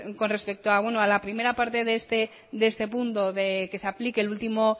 con respecto a la primera parte de este punto de que se aplique el último